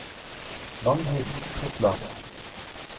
Magnhild Totland